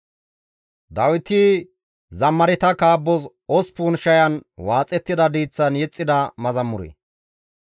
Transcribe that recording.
Abeet GODAWU! Yiillon tana seeroppa; woykko ne hanqon tana qaxxayoppa.